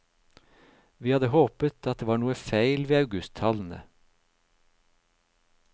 Vi hadde håpet at det var noe feil ved augusttallene.